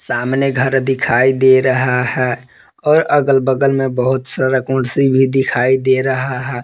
सामने घर दिखाई दे रहा है और अगल बगल में बहुत सारा कुर्सी भी दिखाई दे रहा है।